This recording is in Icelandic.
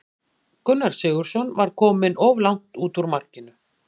Gunnar Sigurðsson var kominn of langt út úr markinu.